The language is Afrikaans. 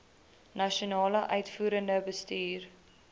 nasionale uitvoerende bestuur